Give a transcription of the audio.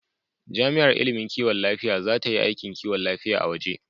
Jami'ar ilimin kiwon lafiya za ta yi aikin kiwon lafiya a waje.